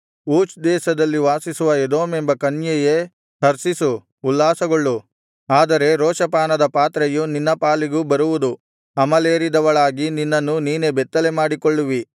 ಊಚ್ ದೇಶದಲ್ಲಿ ವಾಸಿಸುವ ಎದೋಮೆಂಬ ಕನ್ಯೆಯೇ ಹರ್ಷಿಸು ಉಲ್ಲಾಸಗೊಳ್ಳು ಆದರೆ ರೋಷಪಾನದ ಪಾತ್ರೆಯು ನಿನ್ನ ಪಾಲಿಗೂ ಬರುವುದು ಅಮಲೇರಿದವಳಾಗಿ ನಿನ್ನನ್ನು ನೀನೇ ಬೆತ್ತಲೆಮಾಡಿಕೊಳ್ಳುವಿ